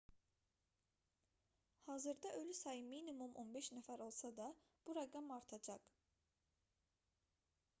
hazırda ölü sayı minimum 15 nəfər olsa da bu rəqəm artacaq